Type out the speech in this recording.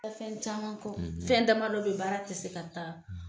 Kɛ fɛn caman kɔ; ; fɛn dama dɔ bɛ baara tɛ se ka taa.